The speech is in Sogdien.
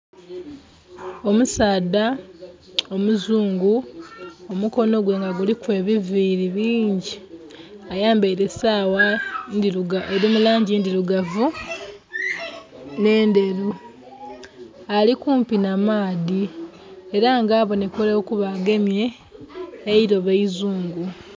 Omusaadha omuzungu omukono gwe nga guliku ebiviri bingi ayambeire sawa eri mu langi ndhirugavu n'endheru, ali kumpi na maadhi era nga abonekera okuba agemye eilobo eizungu.